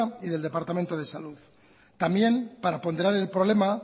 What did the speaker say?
y del departamento de salud también para ponderar el problema